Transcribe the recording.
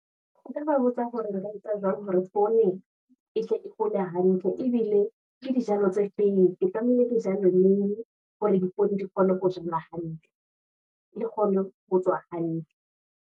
Nka ba botsa hore re ba botsa jwang hore poone, e tle e hole hantle, ebile ke dijalo tse feng. Ke tlamehile ke jale neng, hore dipoone di kgone ho jalwa hantle, le kgone ho tswa hantle.